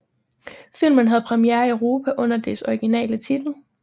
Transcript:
Filmen havde premiere i Europa under dets originale titel